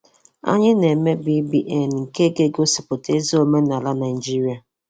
Anyị na-eme BBN nke ga-egosipụta ezi omenala Naijiria.